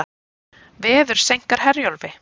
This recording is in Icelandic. Veður seinkar Herjólfi